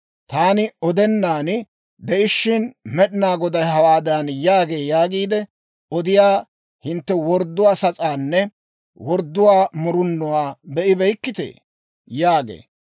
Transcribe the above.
Taani odennan de'ishiina, Med'inaa Goday hawaadan yaagee yaagiide odiyaa hintte wordduwaa sas'aanne wordduwaa murunuwaa be'ibeykkitee?› » yaagee.